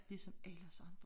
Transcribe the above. Ligesom alle os andre